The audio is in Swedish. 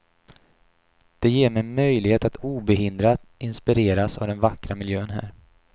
Det ger mig möjlighet att obehindrat inspireras av den vackra miljön här.